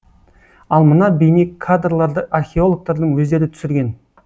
ал мына бейнекадрларды археологтардың өздері түсірген